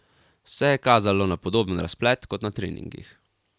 Vse je kazalo na podoben razplet kot na treningih.